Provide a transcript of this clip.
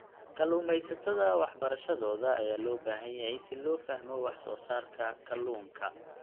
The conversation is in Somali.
Kalluumeysatada waxbarashadooda ayaa loo baahan yahay si loo fahmo wax soo saarka kalluunka.